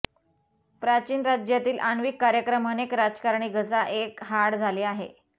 प्राचीन राज्यातील आण्विक कार्यक्रम अनेक राजकारणी घसा एक हाड झाले आहे